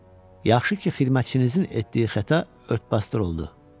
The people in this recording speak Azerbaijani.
Yaxşı ki, xidmətçinizin etdiyi xəta ört-basdır oldu.